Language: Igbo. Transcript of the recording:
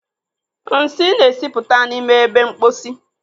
Nsị na-esipụta n'ime ebe mposi.